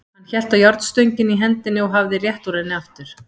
Hann hélt á járnstönginni í hendinni og hafði rétt úr henni aftur.